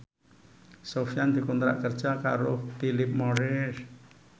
Sofyan dikontrak kerja karo Philip Morris